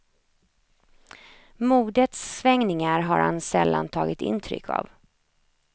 Modets svängningar har han sällan tagit intryck av.